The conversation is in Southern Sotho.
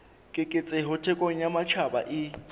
keketseho thekong ya matjhaba e